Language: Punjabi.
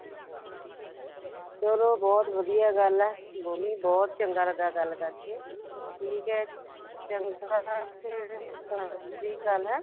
ਚਲੋ ਬਹੁਤ ਵਧੀਆ ਗੱਲ ਹੈ ਭੂਮੀ ਬਹੁਤ ਵਧੀਆ ਲੱਗਿਆ ਗੱਲ ਕਰਕੇ ਠੀਕ ਹੈ ਚੰਗਾ ਫ਼ੇਰ ਸਤਿ ਸ਼੍ਰੀ ਅਕਾਲ ਹੈਂ